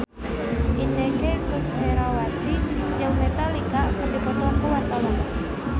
Inneke Koesherawati jeung Metallica keur dipoto ku wartawan